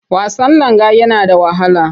Wasan langa yana da wahala.